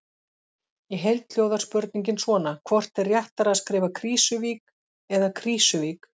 Í heild hljóðar spurningin svona: Hvort er réttara að skrifa Krýsuvík eða Krísuvík?